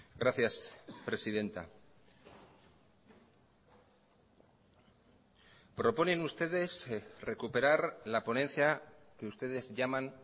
gracias presidenta proponen ustedes recuperar la ponencia que ustedes llaman